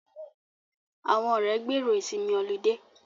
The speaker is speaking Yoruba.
Àwọn ọ̀rẹ́ gbèrò ìsinmi ọlidé